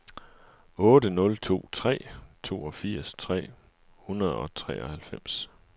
otte nul to tre toogfirs tre hundrede og treoghalvfems